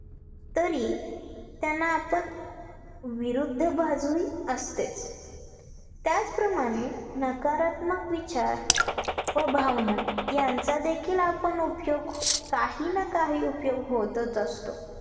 तरी त्यांना पण विरुद्ध बाजू ही असतेच त्याच प्रमाणे नकारात्मक विचार व भावना यांचा देखील आपण उपयोग काही ना काही उपयोग होतच असतो